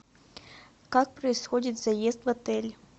как происходит заезд в отель